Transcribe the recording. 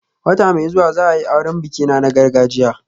Wata mai zuwa za a yi auren bikina na gargajiya